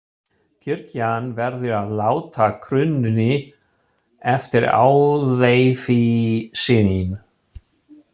Kirkjan verður að láta krúnunni eftir auðæfi sín.